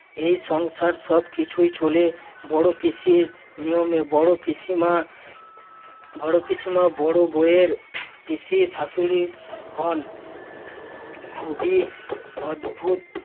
এই সংসার সবকিছুই চলে বড় পিসির নিয়মে। বড় পিসিমা~ বড় পিসিমা বড় বউয়ের পিসি শাশুড়ি হন খুবই অদ্ভুত